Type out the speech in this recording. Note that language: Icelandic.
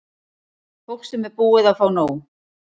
Fólk sem er búið að fá nóg.